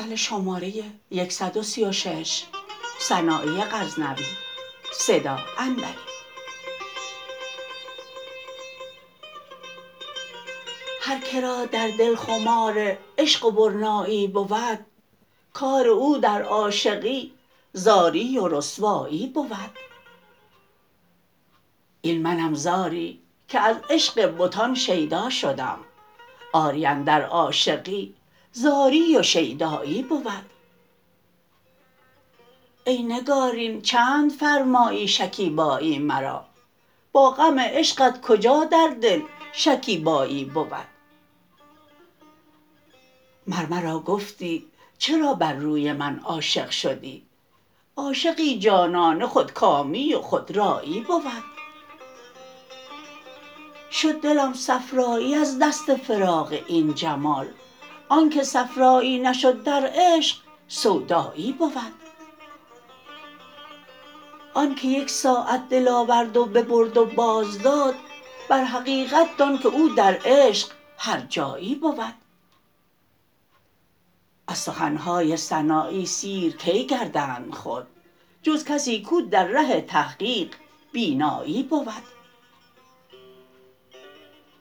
هر کرا در دل خمار عشق و برنایی بود کار او در عاشقی زاری و رسوایی بود این منم زاری که از عشق بتان شیدا شدم آری اندر عاشقی زاری و شیدایی بود ای نگارین چند فرمایی شکیبایی مرا با غم عشقت کجا در دل شکیبایی بود مر مرا گفتی چرا بر روی من عاشق شدی عاشقی جانانه خودکامی و خودرایی بود شد دلم صفرایی از دست فراق این جمال آنکه صفرایی نشد در عشق سودایی بود آن که یک ساعت دل آورد و ببرد و باز داد بر حقیقت دان که او در عشق هر جایی بود از سخنهای سنایی سیر کی گردند خود جز کسی کو در ره تحقیق بینایی بود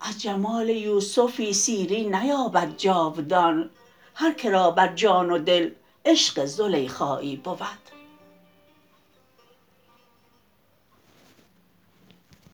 از جمال یوسفی سیری نیابد جاودان هر کرا بر جان و دل عشق زلیخایی بود